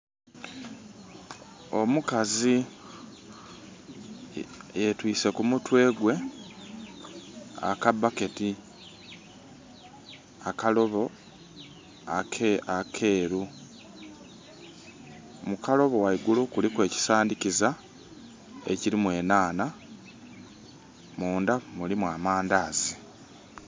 Omukazi yetwiise ku mutwe gwe, aka bucket, akalobo akeeru. Mu kalobo ghaigulu kuliku ekisandhikiza ekiliku enhaanha, munda mulimu amandhaazi.